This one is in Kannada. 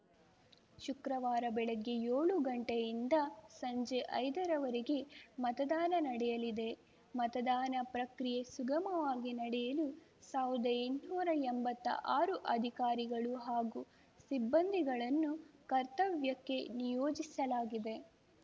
ಶುಕ್ರವಾರ ಬೆಳಗ್ಗೆ ಯೋಳು ಗಂಟೆಯಿಂದ ಸಂಜೆ ಐದರವರೆಗೆ ಮತದಾನ ನಡೆಯಲಿದೆ ಮತದಾನ ಪ್ರಕ್ರಿಯೆ ಸುಗಮವಾಗಿ ನಡೆಯಲು ಸಾವ್ರ್ದಾಎಂಟ್ನೂರಾ ಎಂಬತ್ತಾ ಆರು ಅಧಿಕಾರಿಗಳು ಹಾಗೂ ಸಿಬ್ಬಂದಿಗಳನ್ನು ಕರ್ತವ್ಯಕ್ಕೆ ನಿಯೋಜಿಸಲಾಗಿದೆ